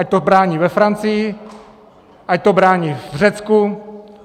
Ať to brání ve Francii, ať to brání v Řecku.